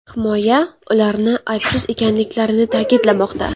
Himoya ularni aybsiz ekanliklarini ta’kidlamoqda.